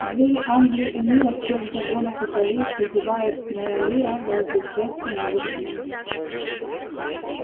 звери англии и мира всех загонов и полей созывает моя лира вас для счастья новых дней